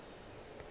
go ya go ile ba